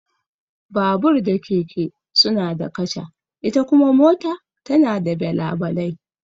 Babur da keke suna da kaca, ita kuma mota tana da belabalai.